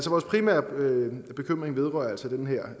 vores primære bekymring vedrører altså den her